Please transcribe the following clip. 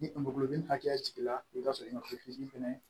Ni mago bi nin hakɛya jiginna i bi t'a sɔrɔ fɛnɛ